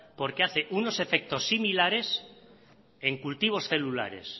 porque hace unos efectos similares en cultivos celulares